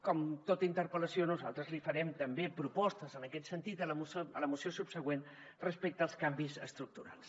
com en tota interpel·lació nosaltres li farem també propostes en aquest sentit a la moció subsegüent respecte als canvis estructurals